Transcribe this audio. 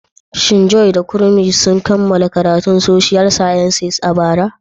Shin Joy da Kunmi sun kammala karatun Social Sciences a bara?